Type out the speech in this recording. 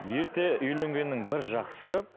ерте үйленгеннің бір жақсысы